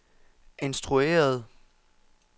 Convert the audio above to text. instrueret